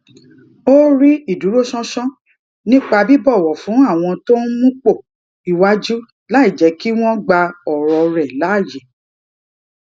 ó rí ìdúróṣánṣán nípa bíbòwò fún àwọn tó ń múpò iwájú láìjé kí wón gba òrò rè láyè